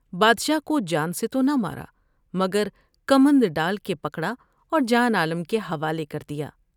بادشاہ کو جان سے تو نہ مارا مگر کمند ڈال کے پکڑا اور جان عالم کے حوالے کر دیا ۔